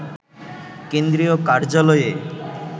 কেন্দ্রীয় কার্যালয়ে